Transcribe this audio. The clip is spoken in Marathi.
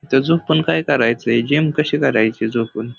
इथ झोपून काय करायचय जिम कशी करायची झोपून --